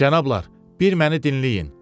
Cənablar, bir məni dinləyin.